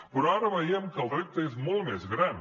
però ara veiem que el repte és molt més gran